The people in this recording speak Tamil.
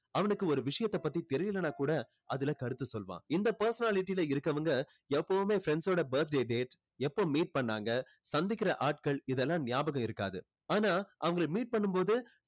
அவனுக்கு ஒரு விஷயத்தை பத்தி தெரியலைன்னா கூட அதுல கருத்து சொல்லுவான் இந்த personality ல இருக்கவங்க எப்போவுமே friends ஓட birthday date எப்போ meet பண்ணாங்க சந்திக்கிற ஆட்கள் இதெல்லாம் நியாபகம் இருக்காது ஆனா அவங்களை meet பண்ணும் போது